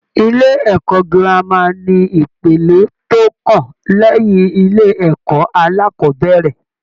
Ilé-ẹ̀kọ́ gírámà ni ipele tó kàn lẹ́yìn ilé-ẹ̀kọ́ alákọ́bẹ̀rẹ̀.